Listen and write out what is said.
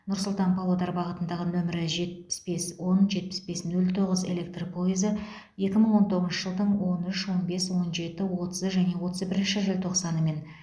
нұр сұлтан павлодар бағытындағы нөмірі жетпіс бес он жетпіс бес нөл тоғыз электр пойызы екі мың он тоғызыншы жылдың он үш он бес он жеті отызы және отыз бірінші желтоқсаны мен